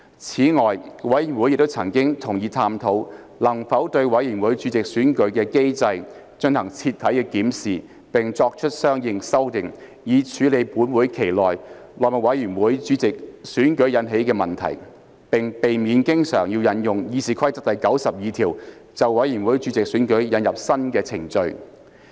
此外，委員會亦曾同意探討能否對委員會主席選舉的機制進行徹底檢視並作出相應修訂，以處理本會期內務委員會主席選舉引起的問題，並避免經常引用《議事規則》第92條，就委員會主席選舉引入新的程序。